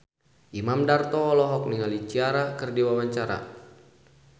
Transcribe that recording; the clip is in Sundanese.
Imam Darto olohok ningali Ciara keur diwawancara